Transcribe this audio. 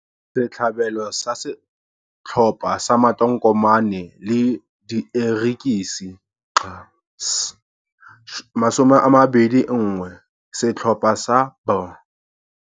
Setlhabelo sa setlhopha sa matonkomane le dierekisi, XS21 setlhopha sa B.